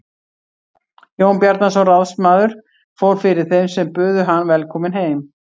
Jón Bjarnason ráðsmaður fór fyrir þeim sem buðu hann velkominn heim.